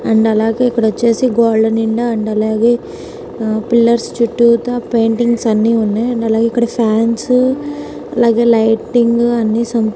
and అలాగే ఇక్కడ వచ్చేసి గోడల నిండా అండ్ అలాగే పిల్లర్స్ చుట్టూతా పెయింటింగ్స్ అన్నీ ఉన్నాయి అండ్ అలాగే ఇక్కడ ఫ్యాన్సు అలాగే లైటింగ్స్ అన్నీ ఉన్నాయి